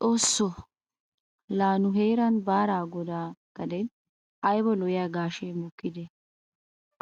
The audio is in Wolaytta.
Xoosso! laa nu heeran Baaraa godaa gadeen ayba lo'iya gaashee mokkidee?